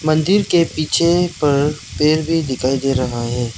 मंदिर के पीछे पर पेड़ भी दिखाई दे रहा है।